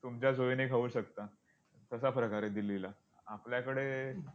तुमच्या सोयीने खाऊ शकता, तसा प्रकार आहे दिल्लीला, आपल्याकडे